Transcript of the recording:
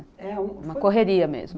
Uma correria mesmo.